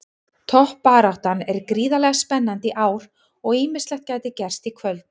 Toppbaráttan er gríðarlega spennandi í ár og ýmislegt gæti gerst í kvöld.